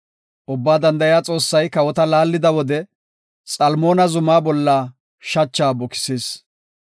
Ubbaa danda7iya Xoossay kawota laallida wode, Xalmoona zumaa bolla shacha bukisis.